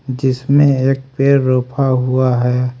जिसमें एक पेड़ रोपा हुआ है।